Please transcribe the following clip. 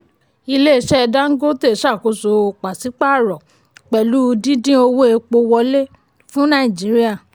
ilé-iṣẹ́ dangote ṣàkóso paṣípààrọ̀ pẹ̀lú dídín owó epo wọlé fún nàìjíríà.